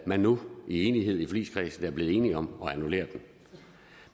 man nu i enighed i forligskredsen er blevet enige om at annullere den